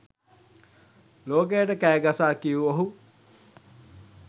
ලෝකයට කෑ ගසා කියූ ඔහු